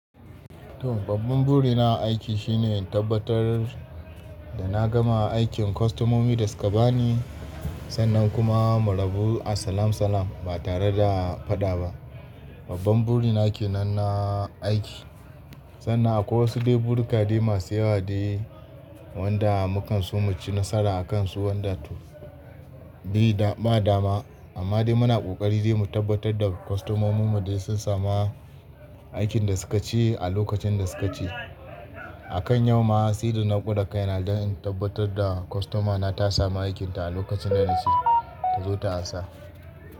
To babban buri na a aiki shine in tabbatar da na gama aikin kwastomomi dasuka bani sannan kuma mu rabu a salam salam ba tare da faɗa ba. Babban buri na ke nan na aiki. Sannan akwai wasu dai buri ka dai masu yawa dai wanda mu kan so mu ci nasara a kansu wanda to bai da ba dama. Amma dai muna ƙoƙari dai mu tabbatar da kwastomomin mu dai sun sama aikin da suka ce a lokacin da suka ce. A kan yau ma, saida na gwada kaina don in tabbatar da kwastomana ta samu aikinta a lokacin da na ce ta zo ta sa.